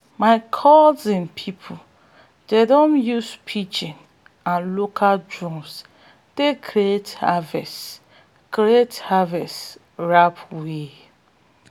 my cousin people dem don use pidgin and local drums take create harvest create harvest rap wey